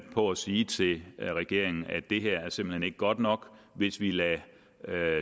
på at sige til regeringen at det simpelt hen godt nok hvis vi lader